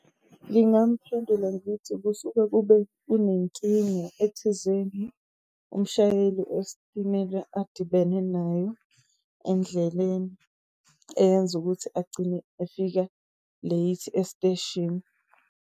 Ngingamphendula ngithi, kusuke kube kunenkinga ethizeni, umshayeli wesitimela adibene nayo endleleni, eyenza ukuthi agcine efika late esiteshini.